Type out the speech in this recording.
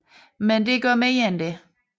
Men det gør mere end det